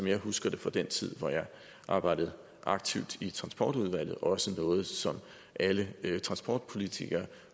jeg husker det fra den tid hvor jeg arbejdede aktivt i transportudvalget og noget som alle transportpolitikere